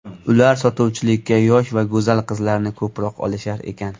Ular sotuvchilikka yosh va go‘zal qizlarni ko‘proq olishar ekan.